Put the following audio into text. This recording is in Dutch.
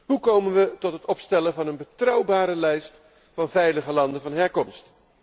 Hoe komen we tot het opstellen van een betrouwbare lijst van veilige landen van herkomst?